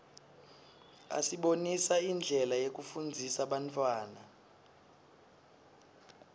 asibonisa indlela yekufundzisa bantfwana